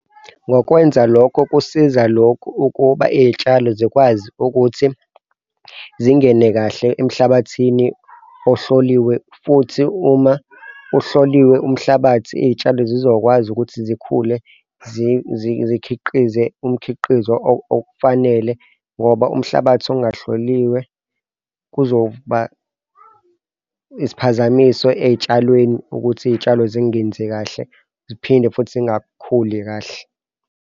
Ngokwenza lokho, kusiza lokhu ukuba iy'tshalo zikwazi ukuthi zingene kahle emhlabathini ohloliwe, futhi uma ihloliwe umhlabathi iy'tshalo zizokwazi ukuthi zikhule zikhiqize umkhiqizo ofanele ngoba umhlabathi ungahloliwe kuzoba isiphazamiso ey'tshalweni ukuthi iy'tshalo zingenzi kahle ziphinde futhi zingakhuli kahle.